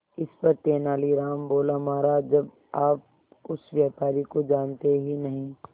इस पर तेनालीराम बोला महाराज जब आप उस व्यापारी को जानते ही नहीं